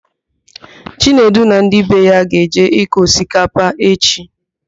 Chinedu na ndị be ya ga-eje ịkọ osikapa echi.